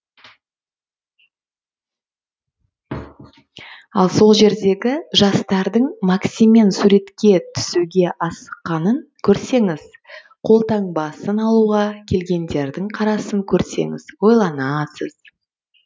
ал сол жердегі жастардың максиммен суреткен түсуге асыққанын көрсеңіз қолтаңбасын алуға келгендердің қарасын көрсеңіз ойланасыз